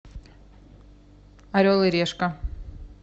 орел и решка